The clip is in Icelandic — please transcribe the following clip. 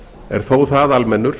er þó það almennur